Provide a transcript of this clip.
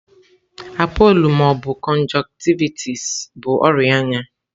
Appollo ma ọ bụ conjunctivitis bụ ọrịa anya.